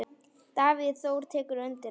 Davíð Þór tekur undir það.